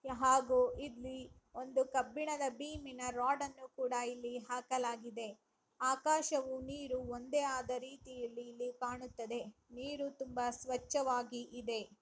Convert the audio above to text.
ಹಾಗೂ ಇಲ್ಲಿ ಒಂದು ಕಬ್ಬಿಣದ ಬೀಮಿನ ರಾಡ್‌ನ್ನು ಕೂಡ ಇಲ್ಲಿ ಹಾಕಲಾಗಿದೆ ಆಕಾಶವು ನೀರು ಒಂದೇ ಆದ ರೀತಿಯಲ್ಲಿ ಇಲ್ಲಿ ಕಾಣುತ್ತದೆ ನೀರು ತುಂಬಾ ಸ್ವಚ್ಚವಾಗಿ ಇದೆ.